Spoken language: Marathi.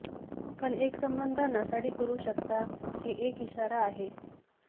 पण एक संबंध नासाडी करू शकता की एक इशारा आहे